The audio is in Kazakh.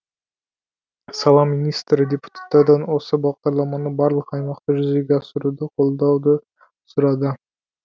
сала министрі депутаттардан осы бағдарламаны барлық аймақта жүзеге асыруды қолдауды сұрады